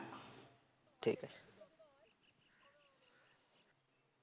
ঠিক আছে